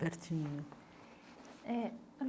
Pertinho. Eh